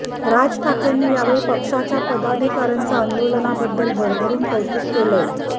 राज ठाकरेंनी यावेळी पक्षाच्या पदाधिकाऱ्याचं आंदोलनाबद्दल भरभरून कौतुक केलंय